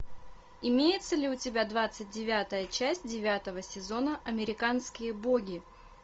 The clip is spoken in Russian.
имеется ли у тебя двадцать девятая часть девятого сезона американские боги